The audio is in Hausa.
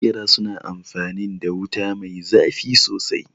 Maƙera su na amfanin da wuta mai zafi sosai